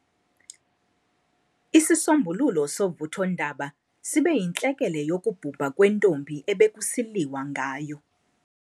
Isisombululo sovuthondaba sibe yintlekele yokubhubha kwentombi ebekusiliwa ngayo.